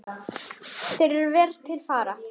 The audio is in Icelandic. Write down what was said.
Þeir eru vel til fara.